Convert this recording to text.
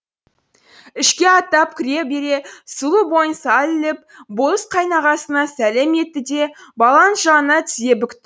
ішке аттап кіре бере сұлу бойын сәл иіп болыс қайнағасына сәлем етті де баланың жанына тізе бүкті